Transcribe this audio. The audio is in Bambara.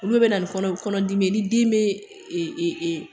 Olu de bɛ na ni kɔnɔ dimi ye, ni den bɛ,